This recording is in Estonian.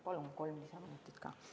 Palun kolm lisaminutit!